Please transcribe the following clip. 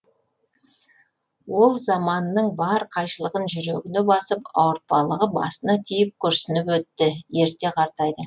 ол заманының бар қайшылығын жүрегіне басып ауыртпалығы басына тиіп күрсініп өтті ерте қартайды